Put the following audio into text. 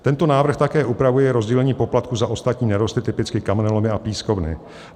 Tento návrh také upravuje rozdělení poplatků za ostatní nerosty, typicky kamenolomy a pískovny.